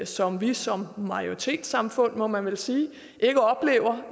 som vi som majoritetssamfund må man vel sige ikke oplever